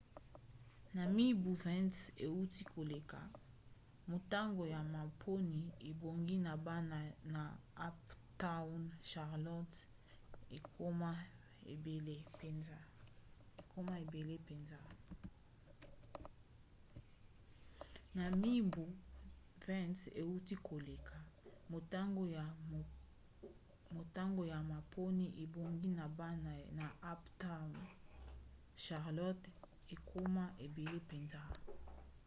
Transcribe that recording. na mibu 20 euti koleka motango ya maponi ebongi na bana na uptown charlotte ekoma ebele mpenza